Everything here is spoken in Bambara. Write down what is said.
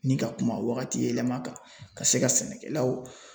Ni ka kuma wagati yɛlɛma kan, ka se ka sɛnɛkɛlaw